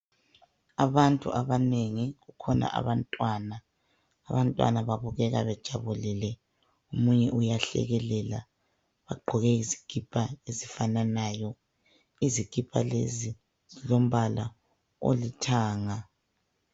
Abantu abanengi kukhona abantwana, abantwana babukeka bejabulile omunye uyahlekelela ugqoke isikipa ezifananayo. Izikipa lezi zilombala olithanga